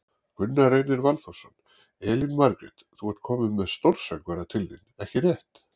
Gunnar Reynir Valþórsson: Elín Margrét, þú ert komin með stórsöngvara til þín, ekki rétt?